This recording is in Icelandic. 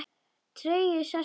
Tregi sest í augu hans.